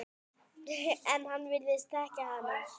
En hann virðist þekkja hana.